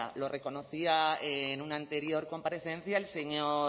lo reconocía en una anterior comparecencia el señor